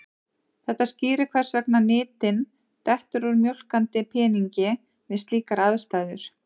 Þetta skýrir hvers vegna nytin dettur úr mjólkandi peningi við slíkar aðstæður.